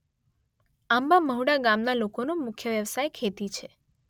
આંબા મહુડા ગામના લોકોનો મુખ્ય વ્યવસાય ખેતી છે.